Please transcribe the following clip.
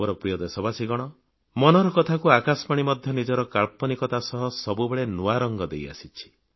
ମୋର ପ୍ରିୟ ଦେଶବାସୀଗଣ ମନ କି ବାତକୁ ଆକାଶବାଣୀ ମଧ୍ୟ ନିଜର କାଳ୍ପନିକତା ସହ ସବୁବେଳେ ନୂଆ ରଙ୍ଗ ଦେଇଆସିଛି